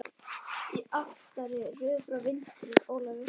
Í aftari röð frá vinstri: Ólafur